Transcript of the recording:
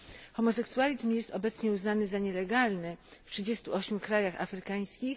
Homoseksualizm jest obecnie uznany za nielegalny w 38 krajach afrykańskich